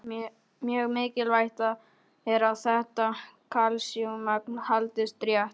Mjög mikilvægt er að þetta kalsíummagn haldist rétt.